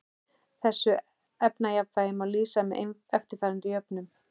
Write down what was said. Þessu efnajafnvægi má lýsa með eftirfarandi jöfnum